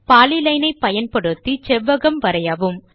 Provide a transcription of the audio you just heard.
polyline ஐப் பயன்படுத்தி செவ்வகம் வரையவும்